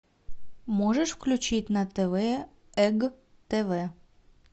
можешь включить на тв эг тв